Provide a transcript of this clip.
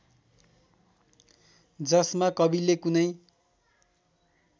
जसमा कविले कुनै